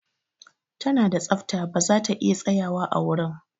Ta na da tsafta ba za ta iya tsayawa a wurin.